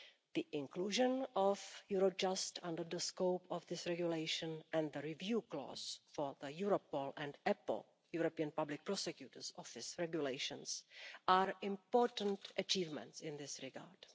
The inclusion of Eurojust under the scope of this regulation and the review clause for the Europol and European Public Prosecutor's Office regulations are important achievements in this regard.